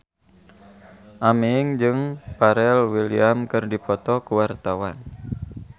Aming jeung Pharrell Williams keur dipoto ku wartawan